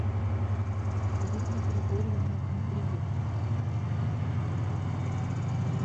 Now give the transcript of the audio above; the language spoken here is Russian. ирина григорьевна дмитриенко